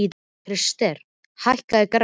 Krister, hækkaðu í græjunum.